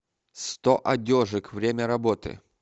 сто одежек время работы